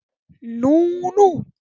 Nú nú.